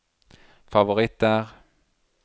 favoritter